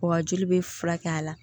Wa joli bɛ furakɛ a la